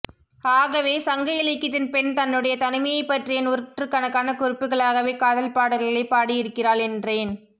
ஆகவே சங்க இலக்கியத்தின் பெண் தன்னுடைய தனிமையைப் பற்றிய நூற்றுக்கணக்கான குறிப்புகளாகவே காதல்பாடல்களை பாடியிருக்கிறாள் என்றேன்